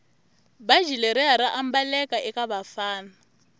bhatji leriya raambaleka ekavafana